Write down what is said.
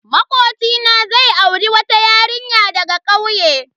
Makocina zai auri wata yarinya daga kauye.